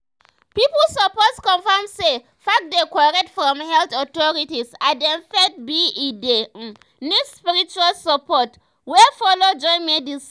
pipu suppose confirm say facts dey korrect from health authorities as dem faith be e dey um need spiritual support um wey follow join medicine.